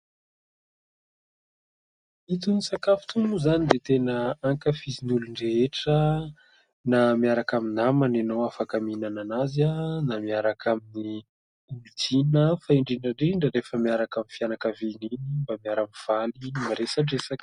Itony sakafo itony moa izany dia tena ankafizin'ny olon-drehetra na miaraka amin'ny namana ianao mihinana azy, na miaraka amin'ny olon-tiana fa indrindra indrindra rehefa miaraka amin'ny fianakaviana iny mba miara-mifaly, miresadresaka.